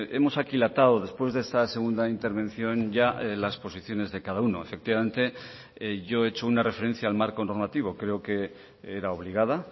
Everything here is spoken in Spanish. hemos aquilatado después de esta segunda intervención ya las posiciones de cada uno efectivamente yo he hecho una referencia al marco normativo creo que era obligada